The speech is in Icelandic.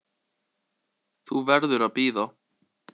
Þú verður að bíða.